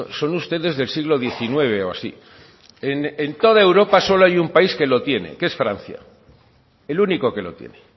son ustedes del siglo diecinueve o así en toda europa solo hay un país que lo tiene y es francia el único que lo tiene